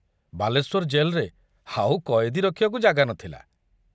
ବାଲେଶ୍ୱର ଜେଲରେ ଆଉ କଏଦୀ ରଖିବାକୁ ଜାଗା ନଥିଲା।